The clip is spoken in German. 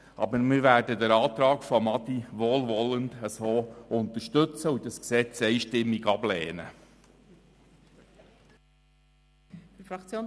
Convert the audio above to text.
Aber wir werden den Antrag von Adrian Haas wohlwollend unterstützen und das Gesetz einstimmig ablehnen.